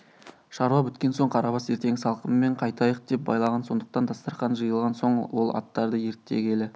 шаруа біткен соң қарабас ертеңгі салқынмен қайтайық деп байлаған сондықтан дастарқан жиылған соң ол аттарды ерттегелі